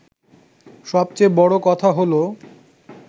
সবচেয়ে বড় কথা হলো